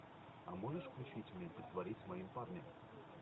а можешь включить мне притворись моим парнем